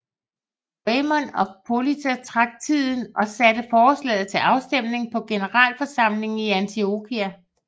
Raymond af Poitiers trak tiden og satte forslaget til afstemning på generalforsamlingen i Antiokia